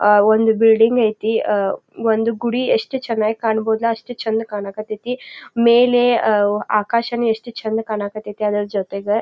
ಒಂದು ಬಿಲ್ಡಿಂಗ್ ಐತಿ ಅಹ್ ಒಂದ್ ಗುಡಿ ಎಷ್ಟ ಚನ್ನಾಗಿ ಕಾಣಬೊದ್ಲ ಅಷ್ಟ ಚಂದ ಕಾಣ್ ಕತ್ತತಿ ಮೇಲೆ ಅಹ್ ಆಕಾಶನು ಎಷ್ಟು ಚಂದ್ ಕಾಣಕತೈತಿ ಅದರ್ ಜೊತೆಗ.